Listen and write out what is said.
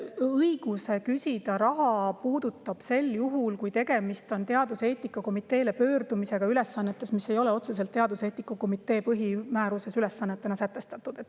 Õigus küsida raha puudutab seda juhtu, kui teaduseetika komitee poole pöördutakse ülesannete puhul, mis ei ole teaduseetika komitee põhimääruses selle ülesannetena otseselt sätestatud.